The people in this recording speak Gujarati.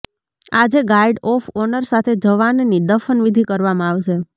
આજે ગાર્ડ ઓફ ઓનર સાથે જવાનની દફનવિધિ કરવામાં આવશે